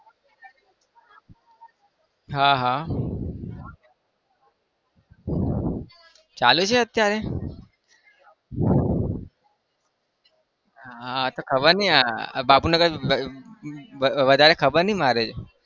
હા હા ચાલુ છે અત્યારે? હા તો ખબર નહિ આ બાપુનગર વધારે ખબર નહિ મારે